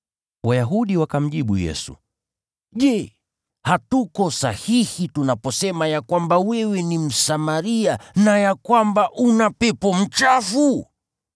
Wayahudi wakamjibu Yesu, “Je, hatuko sahihi tunaposema ya kwamba wewe ni Msamaria na ya kwamba una pepo mchafu?”